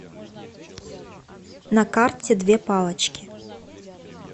на карте две палочки